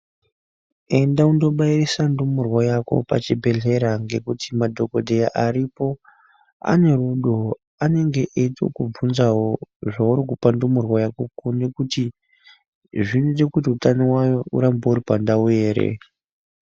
Enda unobairisa ndumurwa Yako pachibhedhlera ngekuti madhokodheya aripo ane rudo anenge eitokuibvunzawo zvauri kupa ndumurwa Yako kuine kuti zvinoite kuti utano hwayo irambe uripandau ere.